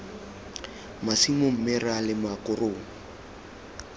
masimo mme ra lema korong